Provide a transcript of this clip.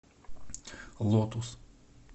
лотус